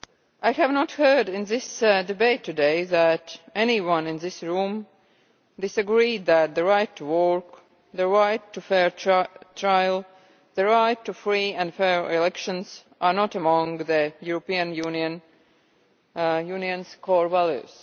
I have not heard in this debate today that anyone in this room disagrees that the right to work, the right to a fair trial, and the right to free and fair elections are not among the European Union's core values.